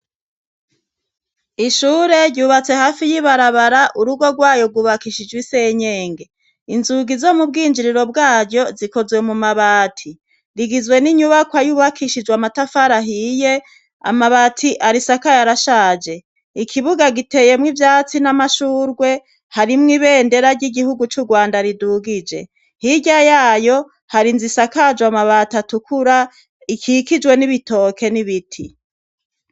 Ishure ryubatse hafi y'ibarabara urugo rwayo gubakishijwe isenyenge inzugi zo mu bwinjiriro bwaryo zikozwe mu mabati rigizwe n'inyubako y'ububakishijwe amatafarahiye amabati arisaka y arashaje ikibuga giteyemwo ivyatsi n'amashurwe harimwe be ndera ry'igihugu c'urwanda ridugije hirya yayo hari inz isakajwe amabat atukura ikikijwe n'ibitoke n'ibiti.